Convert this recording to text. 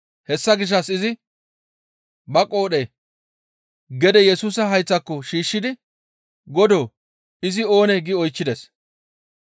Hessa gishshas izi ba qoodhe gede Yesusa hayththako shiishshidi, «Godoo! Izi oonee?» gi oychchides.